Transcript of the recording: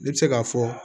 Ne bɛ se k'a fɔ